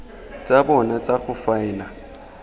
tsa bona tsa go faela